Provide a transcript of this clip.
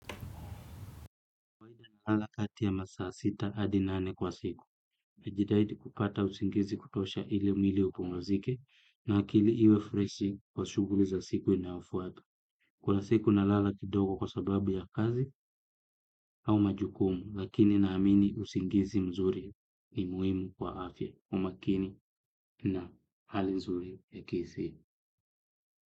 Kwa kawaida nalala kati ya masaa sita hadi nane kwa siku, najitahidi kupata usingizi kutosha ili mwili upumzike na akili iwe freshi kwa shughuli za siku inayofuata. Kuna siku nalala kidogo kwa sababu ya kazi au majukumu lakini naamini usingizi mzuri ni muhimu kwa afya umakini na hali nzuri ya akili pia.